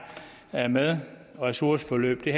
er med ressourceforløb det